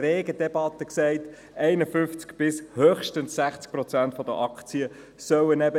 Somit stimmen wir noch über die Abschreibung ab.